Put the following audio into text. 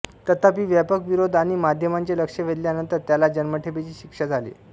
तथापि व्यापक विरोध आणि माध्यमांचे लक्ष वेधल्यानंतर त्याला जन्मठेपेची शिक्षा झाली